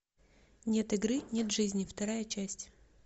нет игры нет жизни вторая часть